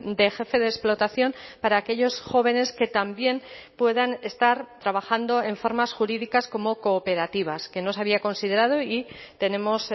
de jefe de explotación para aquellos jóvenes que también puedan estar trabajando en formas jurídicas como cooperativas que no se había considerado y tenemos